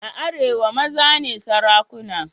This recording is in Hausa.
A arewa maza ne sarakuna.